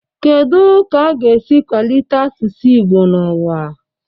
Kedu ka a ga-esi kwalite asụsụ Igbo n'ụwa?